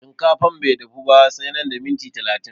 Shinkafan bai dafu ba sai nan da miniti talatin